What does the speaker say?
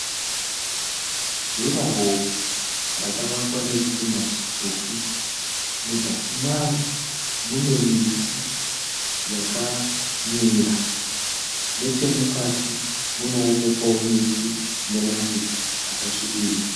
Durawall rakavakwa nezvidhina zvitsvuku. Muzasi maro mune miti yakamera. Nechemukati munoonekwa wo miti ina mashizha akasvibirira.